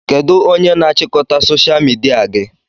Kedụ onye na-achịkọta soshal midia gị?